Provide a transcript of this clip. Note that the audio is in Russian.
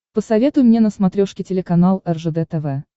посоветуй мне на смотрешке телеканал ржд тв